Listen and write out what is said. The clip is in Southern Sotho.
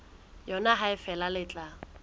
yona ha feela le tla